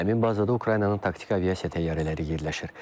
Həmin bazada Ukraynanın taktiki aviasiya təyyarələri yerləşir.